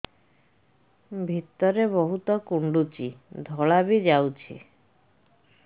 ଭିତରେ ବହୁତ କୁଣ୍ଡୁଚି ଧଳା ବି ଯାଉଛି